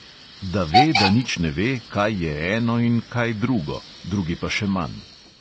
Da ve, da nič ne ve, kaj je eno in kaj drugo, drugi pa še manj.